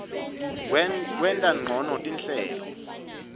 kwenta ncono tinhlelo